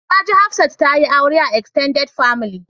Na ji Hafsat ta yi aure a "extended family ".